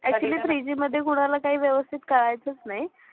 actuallythree G मध्ये कोणाला काही व्यवस्थित कळायचचं नाही.